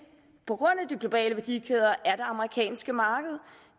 på grund af de globale værdikæder er det amerikanske marked